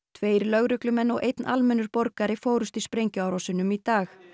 tveir lögreglumenn og einn almennur borgari fórust í sprengjuárásum í dag